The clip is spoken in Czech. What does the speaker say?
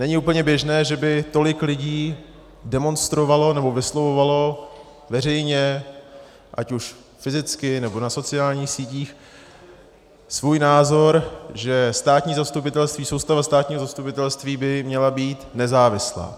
Není úplně běžné, že by tolik lidí demonstrovalo nebo vyslovovalo veřejně, ať už fyzicky, nebo na sociálních sítích, svůj názor, že státní zastupitelství, soustava státního zastupitelství by měla být nezávislá.